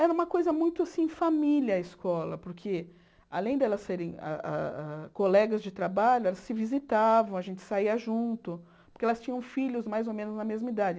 Era uma coisa muito assim, família a escola, porque além de elas serem hã hã colegas de trabalho, elas se visitavam, a gente saía junto, porque elas tinham filhos mais ou menos na mesma idade.